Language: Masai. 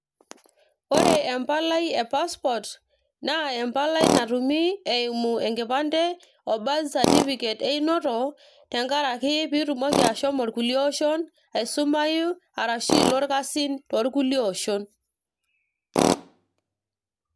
ore empalai e passport naa empalai natumi eimu enkipande o birth certificate einoto tenkaraki piitumoki ashomo irkulie oshon aisumayu arashu ilo irkasin toorkulie oshon.